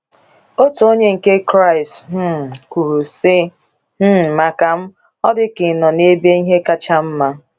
Otu onye nke Kraịst um kwuru sị: um Maka m, ọ dị ka ị nọ ebe ihe kacha mma.